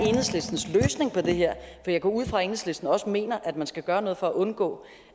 enhedslistens løsning på det her for jeg går ud fra at enhedslisten også mener at man skal gøre noget for at undgå